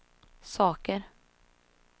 saker